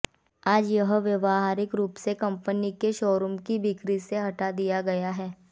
आज यह व्यावहारिक रूप से कंपनी के शोरूम की बिक्री से हटा दिया है